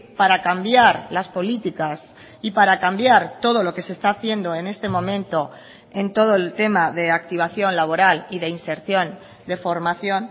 para cambiar las políticas y para cambiar todo lo que se está haciendo en este momento en todo el tema de activación laboral y de inserción de formación